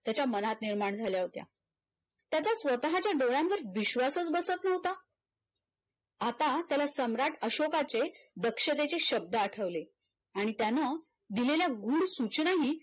त्याच्या मनात निर्माण झाल्या होत्या त्याच्या स्वत च्या डोळ्यांवर विश्वासच बसत नव्हता आता त्याला सम्राट अशोकाचे दक्षतेचे शब्द आठवले आणि त्यानं दिलेल्या गुळ सूचनाने